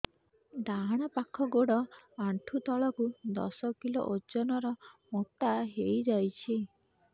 ଡାହାଣ ପାଖ ଗୋଡ଼ ଆଣ୍ଠୁ ତଳକୁ ଦଶ କିଲ ଓଜନ ର ମୋଟା ହେଇଯାଇଛି